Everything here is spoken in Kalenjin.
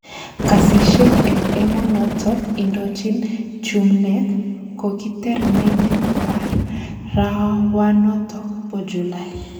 Kasishek eng emonotok indochin Chumneek kokiter meliit arawanotok po. Julai